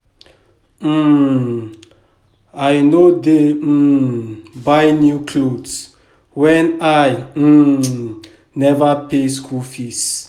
um I no dey um buy new cloths wen I um neva pay school fees.